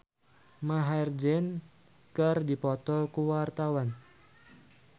Pevita Pearce jeung Maher Zein keur dipoto ku wartawan